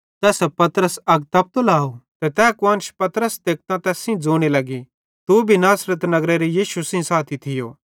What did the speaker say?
तैसां पतरस अग तपतो लाव ते तै कुआन्श पतरस तेकतां तैस सेइं ज़ोने लग्गी तू भी एस नासरत नगरेरो यीशु सेइं साथी थियो